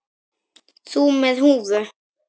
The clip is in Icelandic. Þú með húfu.